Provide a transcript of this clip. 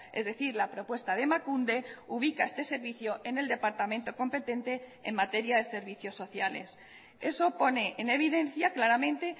es decir la propuesta de emakunde ubica este servicio en el departamento competente en materia de servicios sociales eso pone en evidencia claramente